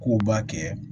K'u b'a kɛ